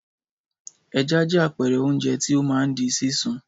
Ẹja jẹ́ àpẹẹrẹ oúnjẹ tí ó máa ń di sísun.